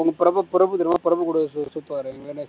பிரபு பிரபு பிரபு தெரியுமா பிரபு கூட சுத்~ சுத்துவாரே